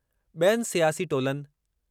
बि॒यनि सियासी टोलनि